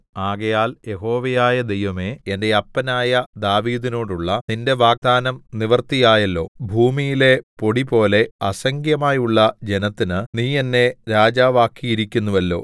ആകയാൽ യഹോവയായ ദൈവമേ എന്റെ അപ്പനായ ദാവീദിനോടുള്ള നിന്റെ വാഗ്ദാനം നിവൃത്തിയായല്ലോ ഭൂമിയിലെ പൊടിപോലെ അസംഖ്യമായുള്ള ജനത്തിന് നീ എന്നെ രാജാവാക്കിയിരിക്കുന്നുവല്ലോ